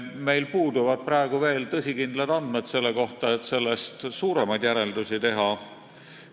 Meil puuduvad praegu veel tõsikindlad andmed selle kohta, et suuremaid järeldusi teha.